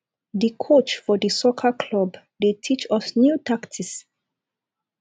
di coach for di soccer club dey teach us new tactics